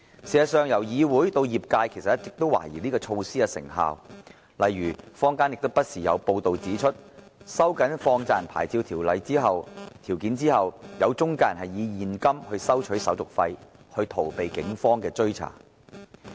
事實上，議會以至業界一直也懷疑這措施的成效，例如坊間不時有報道指出，在收緊放債人牌照條件後，有些中介人以現金收取手續費以逃避警方追查。